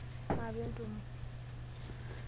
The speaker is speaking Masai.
Maape entumo.